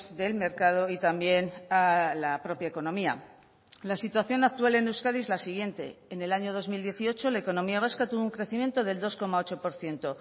del mercado y también a la propia economía la situación actual en euskadi es la siguiente en el año dos mil dieciocho la economía vasca tuvo un crecimiento del dos coma ocho por ciento